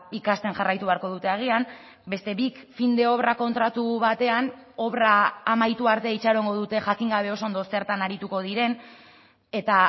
ikasten jarraitu beharko dute agian beste bik fin de obra kontratu batean obra amaitu arte itxarongo dute jakin gabe oso ondo zertan arituko diren eta